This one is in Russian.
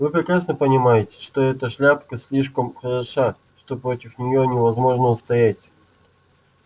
вы прекрасно понимаете что эта шляпка слишком хороша что против неё невозможно устоять